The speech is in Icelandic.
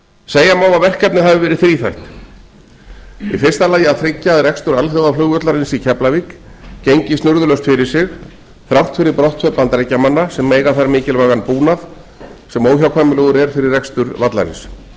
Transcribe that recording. segja má að verkefnið hafi verið þríþætt í fyrsta lagi að tryggja að rekstur alþjóðaflugvallarins í keflavík gengi snurðulaust fyrir sig þrátt fyrir brottför bandaríkjamanna sem eiga þar mikilvægan búnað sem óhjákvæmilegur er fyrir rekstur vallarins